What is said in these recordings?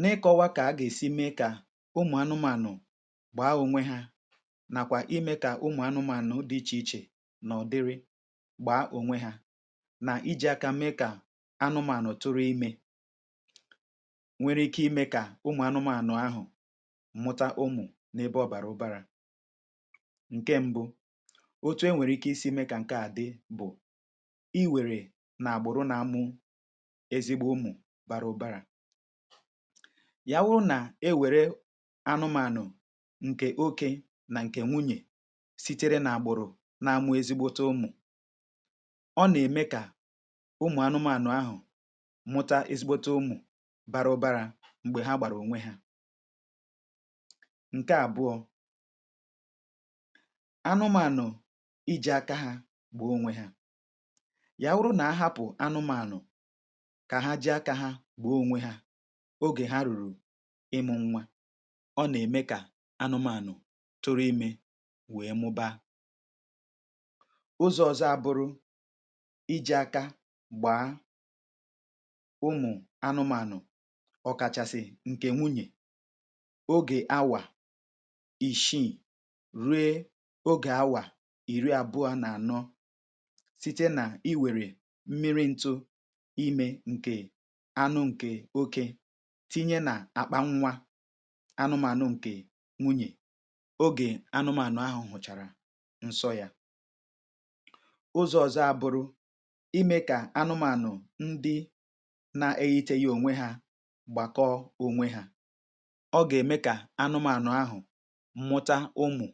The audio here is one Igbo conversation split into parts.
N’ịkọwa ka a ga-esi mee ka ụmụ̀ anụmanụ̀ gbaa onwe ha, nakwa ime ka ụmụ̀ anụmanụ̀ dị iche iche na ọdịrị gbaa onwe ha, na iji aka mee ka anụmanụ̀ tụrụ ime, nwere ike ime ka ụmụ̀ anụmanụ̀ ahụ̀ mụta ụmụ n’ebe ọ bara ụbara. Nke mbụ, otu e nwere ike isi ime ka nke a dị bụ i were na-agbụrụ na ụmụ̀ ezigbo ụmụ̀ bara ụbara. Ya wụrụ nà-ewere anụmanụ̀ ǹkè oke nà ǹkè nwunyè sitere nà-àgbụ̀rụ̀ na-amụ̀ ezigbote ụmụ̀, ọ nà-ème kà ụmụ̀ anụmanụ̀ ahụ̀ mụta ezigbote ụmụ̀ bara ụbara m̀gbè ha gbàrà onwe ha. Ǹke àbụọ, anụmanụ̀ iji̇ aka ha gbàa onwe ha. Ya wụrụ na ahapụ anụmanụ̀ ka ha ji̇ aka ha gbàa onwe ha ogè ha rùrù ịmụ̇ nwa, ọ nà-ème kà anụmànụ̀ tụrụ imė wèe mụba. Ụzọ̇ ọzọ ábụrụ, iji̇ aka gbàa ụmụ̀ anụmànụ̀ ọkàchasị̇ ǹkè nwunyè ogè awà ìshiì rie ogè awà ìri àbụọ̇ nà ànọ site nà i wèrè mmiri ntụ̇ imė ǹkè anụ ǹkè oke tinye nà-àkpa nwa anụmànụ ǹkè nwunyè ogè anụmànụ̀ ahụ̀ hụ̀chàrà ǹsọ yȧ. Ụzọ̇ ọ̀zọ́ abụrụ̇ imė kà anụmànụ̀ ndị na-eyiteghi ònwe hȧ gbàkọọ ònwe hȧ. Ọ ga-ème kà anụmànụ̀ ahụ̀ mụta ụmụ̀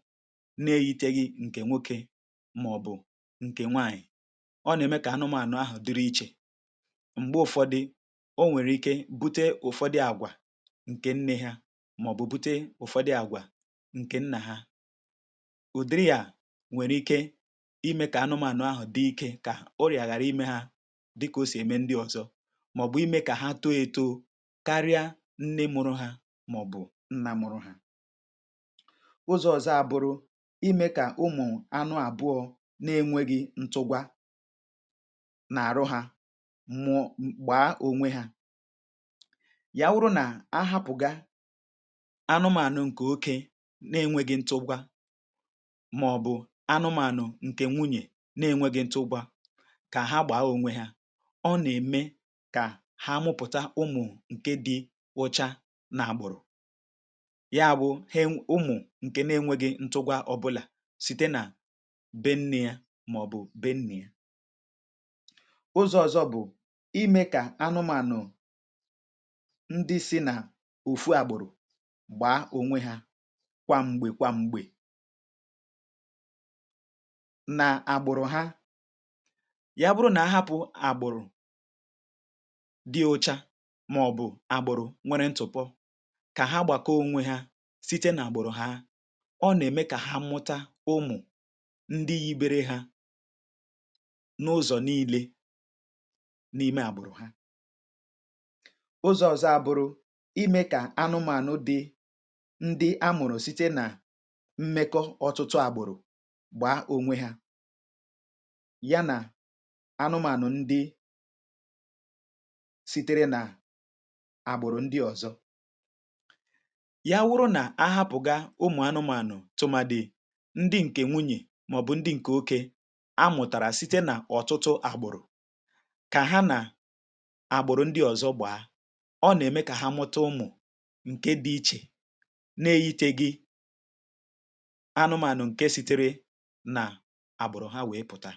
na-eyiteghi ǹkè nwokė màọ̀bụ̀ ǹkè nwaànyị̀. Ọ nà-ème kà anụmànụ̀ ahụ̀ dịrị ichè. M̀gbè ụ̀fọdị, o nwèrè ike bute ụ̀fọdị àgwà ǹkè nne ha màọ̀bụ̀ bute ụ̀fọdị àgwà ǹkè nnà ha. Ụ̀dịrị à nwèrè ike imė kà anụmanụ ahụ̀ dị ike kà orịà ghàra imė ha dịkà o sì ème ndị ọ̇zọ̇ màọ̀bụ̀ imė kà ha too ėtȯo karịa nne mụ̇rụ̇ ha màọ̀bụ̀ nna mụ̇rụ̇ ha. Ụzọ̇ ọ̀zọ abụrụ, imė kà ụmụ̀ anụ àbụọ̇ na-enwėghi̇ ntụgwa nà-àrụ hȧ gbàa onwe ha. Ya wụrụ nà ahapụ̀ga anụmànụ ṅ̀kè oke nà-enwėghi̇ ntụgwȧ màọ̀bụ̀ anụmànụ ṅ̀kè nwunyè na-enwėghi̇ ntụgwȧ kà ha gbàa onwe hȧ, ọ nà-ème kà ha mụ̇pụ̀ta ụmụ̀ ṅ̀ke di̇ ụcha nà àgbụ̀rụ̀. Ya bụ̇ ụmụ̀ ṅ̀kè na-enwėghi̇ ntụgwȧ ọbụlà site nà be-nne yȧ màọ̀bụ̀ be-nna yȧ. Ụzọ̇ ọ̇zọ̇ bụ̀ imė kà anụmànụ̀ ndị si nà òfu àgbụ̀rụ̀ gbàa onwe hȧ kwa m̀gbè kwa m̀gbè na-àgbụ̀rụ̀ ha. Yà bụrụ nà ahapụ̀ àgbụ̀rụ̀ dị ụ̇chȧ màọ̀bụ̀ àgbụ̀rụ̀ nwere ntụ̀pọ kà ha gbàkọọ onwe ha site nà àgbụ̀rụ̀ ha ọ nà-ème kà ha mmụta ụmụ̀ ndị yibere hȧ n’ụzọ̀ niile n’ime àgbụ̀rụ̀ ha. Ụzọ̇ ọ̀zọ abụrụ, ime kà anụmȧnụ̇ dị ndị amụ̀rụ̀ site nà mmekọ̇ ọtụtụ àgbùrù gbàa onwe hȧ ya nà anụmȧnụ̀ ndị sitere nà àgbụ̀rụ̀ ndị ọ̀zọ. Ya wụrụ nà ahapụ̀ga ụmụ̀ anụmȧnụ̀ tụ̀màdị̀ ndị ǹkè nwunyè màọ̀bụ̀ ndị ǹkè oké amụ̀tàrà site nà ọ̀tụtụ àgbụ̀rụ̀ kà ha nà àgbụ̀rụ̀ ndị ọ̀zọ gbàa, ọ na-eme ka ha mụta umu ǹke dị ichè na-eyiteghi anụmanụ̀ ǹke sitere nà àbụ̀rụ̀ ha wèe pụ̀ta.